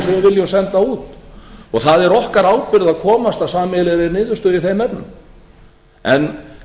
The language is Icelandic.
viljum senda út og það er okkar ábyrgð að komast að sameiginlegri niðurstöðu í þeim efnum en